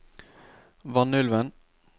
Vanylven